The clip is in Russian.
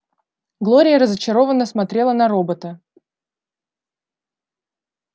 глория разочарованно смотрела на робота